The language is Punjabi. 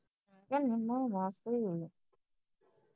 ਮੈਂ ਕਿਹਾ ਨਿੰਮੋ ਮਾਸੀ